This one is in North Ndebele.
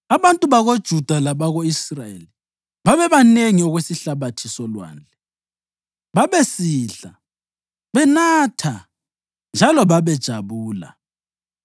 Abantu bakoJuda labako-Israyeli babebanengi okwesihlabathi solwandle; babesidla, benatha njalo babejabula.